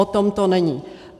O tom to není.